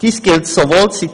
Ich zitiere weiter: